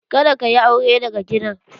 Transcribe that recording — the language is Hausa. Kada ka yi aure daga gidan!